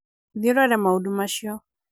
thiĩ ũrore maũndũ macio